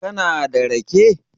kana da rake?